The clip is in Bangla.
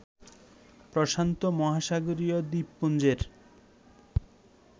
প্রশান্ত মহাসাগরীয় দ্বীপপুঞ্জের